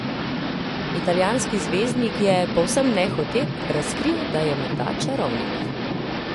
Italijanski zvezdnik je, povsem nehote, razkril, da je morda čarovnik.